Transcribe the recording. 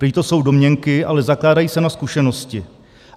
Prý to jsou domněnky, ale zakládají se na zkušenosti.